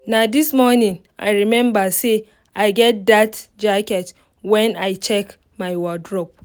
na this morning i remember say i get that jacket when i check my wardrobe.